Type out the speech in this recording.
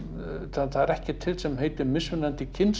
það er ekkert til sem heitir mismunandi